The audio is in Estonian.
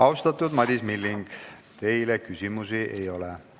Austatud Madis Milling, teile küsimusi ei ole.